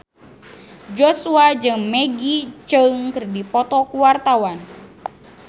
Joshua jeung Maggie Cheung keur dipoto ku wartawan